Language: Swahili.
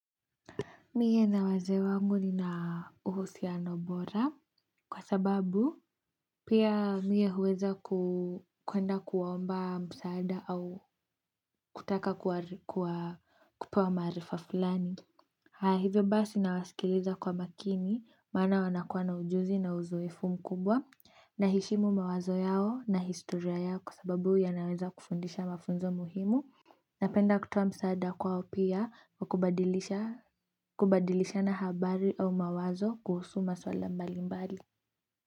Mie na wazee wangu nina uhusiano bora kwa sababu pia mie huweza kuenda kuwaomba msaada au kutaka kupewa maarifa fulani. Haya hivyo basi nawasikiliza kwa makini maana wanakuwa na ujuzi na uzoefu mkubwa naheshimu mawazo yao na historia yao kwa sababu yanaweza kufundisha mafunzo muhimu. Napenda kutoa msaada kwao pia wa kubadilishana habari au mawazo kuhusu maswala mbali mbali.